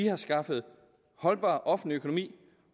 har skaffet holdbar offentlig økonomi